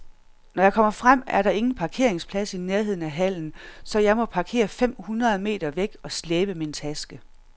Når jeg kommer frem, er der ingen parkeringsplads i nærheden af hallen, så jeg må parkere fem hundrede meter væk og slæbe min taske.